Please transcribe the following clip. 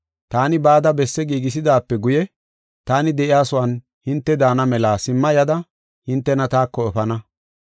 Taani bada besse giigisidaape guye, taani de7iyasuwan hinte daana mela simma yada hintena taako efana.